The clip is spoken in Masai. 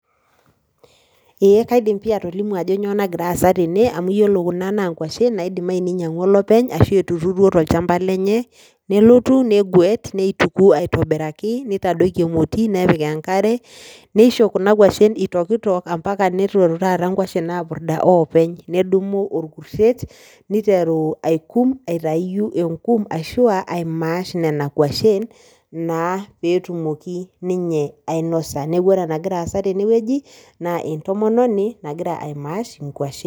Eeh kaidim pii atolimu ajo kanyoo nagiraasa tene amu iyiolo kuna naa nkuashin naidimayu neinyang'ua olopeny ashu etuturuo tolchamba lenye nelotu neguet neituku aitobiraki neitadoiki emoti nepik enkare, neisho kuna kuashin eitokitok ampaka neitoru taata nkuashin aapurda oopeny. Nedumu olkurret neiteru aikum aitayu enkum ashu aimaash nena kuashin naa peetumoki ninye ainosa. Neaku ore enagiraasa tenewueji naa entomononi nagira aimaash inkuashin.